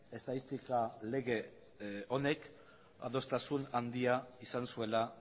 estatistika lege honek adostasun handia izan zuela